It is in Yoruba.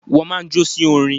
Wọ́n máa ń jó sí orin.